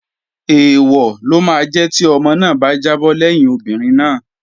Èèwọ̀ ló máa jẹ́ tí ọmọ náà bá jábọ́ lẹ́yìn obìnrin náà